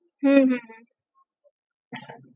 হম হম হম